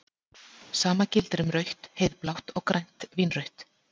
Sama gildir um rautt-heiðblátt og grænt-vínrautt.